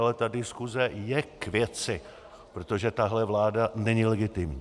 Ale ta diskuse je k věci, protože tahle vláda není legitimní.